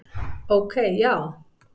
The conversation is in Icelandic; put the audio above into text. Ok, já?